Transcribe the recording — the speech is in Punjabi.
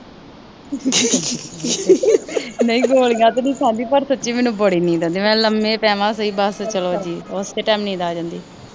ਨਹੀਂ ਗੋਲੀਆਂ ਤਾਂ ਨੀ ਖਾਂਦੀ। ਯਾਰ ਮੈਨੂੰ ਸੱਚੀ ਬੜੀ ਨੀਂਦ ਆਉਂਦੀ ਆ, ਮੈਂ ਲੰਮੇ ਪਵਾਂ, ਸੱਚੀ ਉਸੇ ਟਾਈਮ ਨੀਂਦ ਆ ਜਾਂਦੀ ਆ।